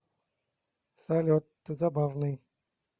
салют ты забавный